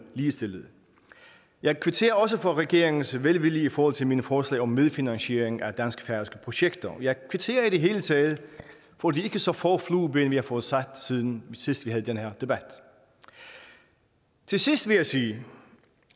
ligestillet jeg kvitterer også for regeringens velvilje i forhold til mine forslag om medfinansiering af dansk færøske projekter jeg kvitterer i det hele taget for de ikke så få flueben vi har fået sat siden vi sidst havde den her debat til sidst vil jeg sige